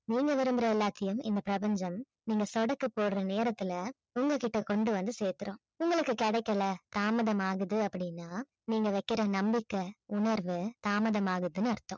நீங்க விரும்புற எல்லாத்தையும் இந்த பிரபஞ்சம் நீங்க சொடக்கு போடற நேரத்துல உங்ககிட்ட கொண்டு வந்து சேத்துடும். உங்களுக்கு கிடைக்கல தாமதமாகுது அப்படின்னா நீங்க வைக்கிற நம்பிக்கை உணர்வு தாமதம் ஆகுதுன்னு அர்த்தம்